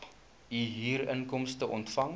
u huurinkomste ontvang